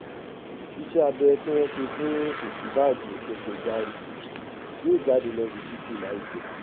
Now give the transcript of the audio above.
iṣẹ́ abẹ tí wọ́n ṣe fún òsínbàjò kẹ́sẹ járí yóò jáde lọ́sibítù láìpẹ́